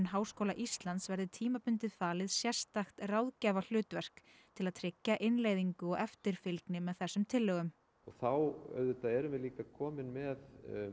Háskóla Íslands verði tímabundið falið sérstakt ráðgjafarhlutverk til að tryggja innleiðingu og eftirfylgni með þessum tillögum og þá auðvitað erum við líka komin með